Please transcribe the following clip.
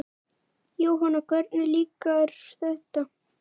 Jóhanna: Hvernig líkar þér þetta?